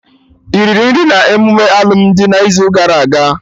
Iriri nri n'emume alụmdi n'izu gara aga?